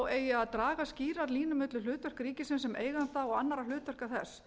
eigi að draga skýra línu milli hlutverks ríkisins sem eiganda og annarra hlutverka þess